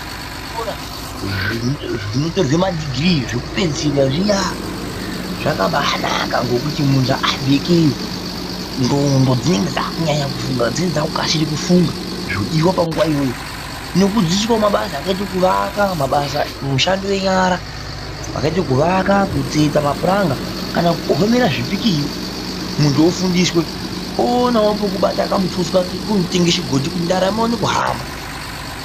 Zvikora zvinotorwa madhigirii zvekupedzisira zviya zvakabanaka ngekuti muntu above ikeyo ndxondo dzinenge dzakunyanya kufunga dzinenge dzakukasire kufunga zvodiwa panguwa iyoyo. Nekudzidziswawo mabasa akaite kuvaka, mishando yenyara kwakaite kuvaka kutsetsa mapuranga kana kukohomera zvipikiri muntu ofundiswe oonawo pokubata kamutuso kake kekutenge chigodhi kuti ndaramo ione kuhamba.